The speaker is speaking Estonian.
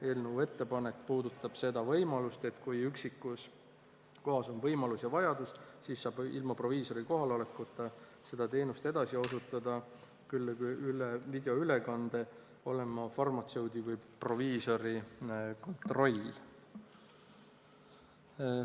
Eelnõu ettepanek puudutab seda võimalust, et kui üksikus kohas on võimalus ja vajadus, siis saab ilma proviisori kohalolekuta seda teenust edasi osutada, küll üle videoülekande, ja peab olema farmatseudi või proviisori kontroll.